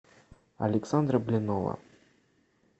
александра блинова